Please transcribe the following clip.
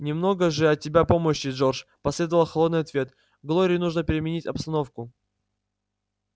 немного же от тебя помощи джордж последовал холодный ответ глории нужно переменить обстановку